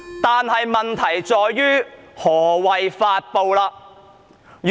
但是，問題在於何謂"發布"。